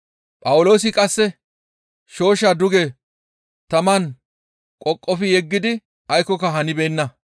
Phawuloosi qasse shooshshaa duge taman qoqofi yeggidi aykkoka hanibeenna.